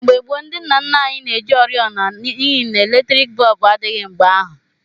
Mgbe gboo ndị nna nna anyị na-eji oriọna n'ihi n'eletriiki bọọbụ adịghị mgbe ahụ.